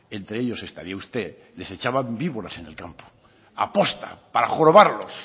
entre ellos estaría usted les echaban víboras en el campo aposta para jorobarlos